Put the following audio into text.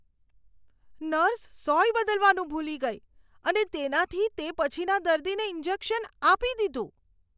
Nurse સોય બદલવાનું ભૂલી ગઈ અને તેનાથી તે પછીના દર્દીને ઈન્જેક્શન આપી દીધું.